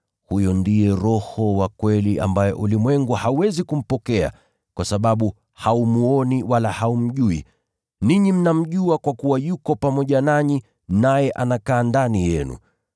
Huyo ndiye Roho wa kweli ambaye ulimwengu hauwezi kumpokea, kwa sababu haumwoni wala haumjui. Ninyi mnamjua kwa kuwa yuko pamoja nanyi naye anakaa ndani yenu.